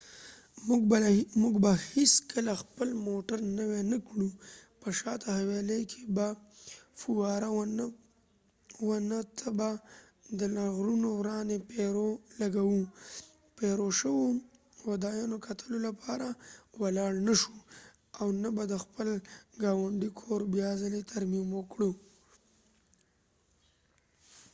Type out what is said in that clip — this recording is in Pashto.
موږ به هیڅکله خپل موټر نوي نه کړو، په شاته حويلۍ کې به فواره و نه لګوو، پیرو peru ته به د لرغونو ورانی شوو ودانیو کتلو لپاره ولاړ نه شو ، او نه به د خپل ګاونډی کور بیا څلی ترمیم کړو